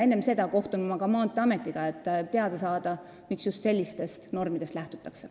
Enne seda kohtun ma ka Maanteeametiga, et teada saada, miks lähtutakse just sellistest normidest.